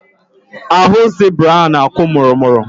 Ahụ zibra ahụ na-akwụ mụrụmụrụ..